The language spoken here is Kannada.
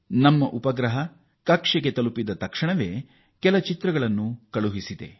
ಈ ಉಪಗ್ರಹ ಉಡಾವಣೆಯಾದ ಸ್ವಲ್ಪ ಹೊತ್ತಿನಲ್ಲೇ ಕೆಲವು ಚಿತ್ರಗಳನ್ನು ಕಳುಹಿಸಿದೆ